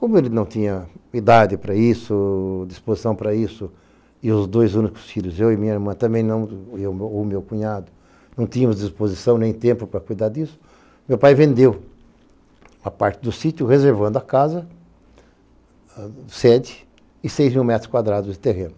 Como ele não tinha idade para isso, disposição para isso, e os dois únicos filhos, eu e minha irmã, também não, ou o meu cunhado, não tínhamos disposição nem tempo para cuidar disso, meu pai vendeu a parte do sítio, reservando a casa, sede e seis mil metros quadrados de terreno.